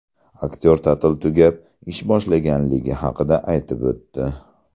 Aktyor ta’til tugab, ish boshlanganligi haqida aytib o‘tdi.